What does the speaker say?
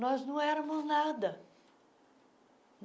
Nós não éramos nada.